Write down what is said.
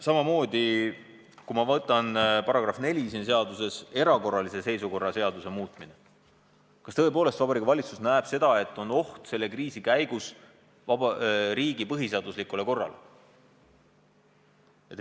Samamoodi, kui ma vaatan selle seaduse § 4, "Erakorralise seisukorra seaduse muutmine", siis kas tõepoolest näeb Vabariigi Valitsus võimalust, et selle kriisi käigus esineb oht riigi põhiseaduslikule korrale?